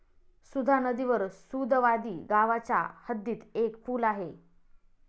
सुधा नदीवर सुदवादी गावाच्या हद्दीत एक पूल आहे.